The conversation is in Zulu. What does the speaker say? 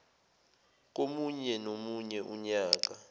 komunye nomunye unyaka